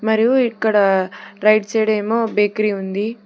మరియు ఇక్కడ right side ఏమో బేకరీ ఉంది.